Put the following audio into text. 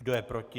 Kdo je proti?